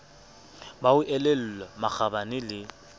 ba ho elellwa makgabane le